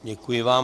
Děkuji vám.